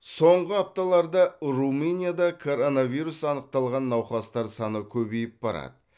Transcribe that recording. соңғы апталарда румынияда коронавирус анықталған науқастар саны көбейіп барады